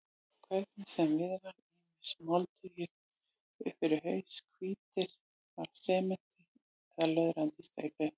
Hvernig sem viðraði, ýmist moldugir upp fyrir haus, hvítir af sementi eða löðrandi í steypu.